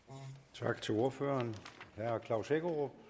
tak til ordføreren herre klaus hækkerup